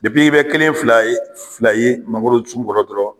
i bɛ kelen fila ye fila ye mangoro sun kɔrɔ dɔrɔn